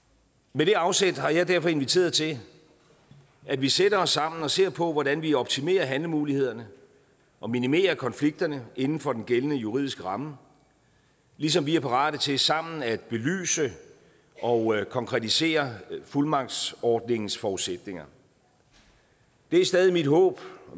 med det afsæt har jeg derfor inviteret til at vi sætter os sammen og ser på hvordan vi optimerer handlemulighederne og minimerer konflikterne inden for den gældende juridiske ramme ligesom vi er parate til sammen at belyse og konkretisere fuldmagtsordningens forudsætninger det er stadig mit håb og